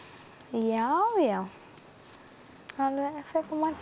já já það var